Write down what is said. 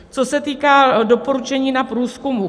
Co se týká doporučení na průzkumy.